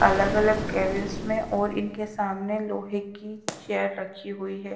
अलग अलग कैबिंस में और इनके सामने लोहे की चेयर रखी हुई है।